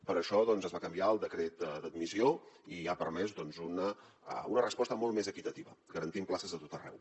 per això es va canviar el decret d’admissió i ha permès doncs una resposta molt més equitativa garantint places a tot arreu